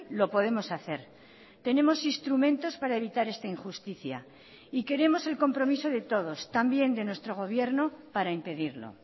lo podemos hacer tenemos instrumentos para evitar esta injusticia y queremos el compromiso de todos también de nuestro gobierno para impedirlo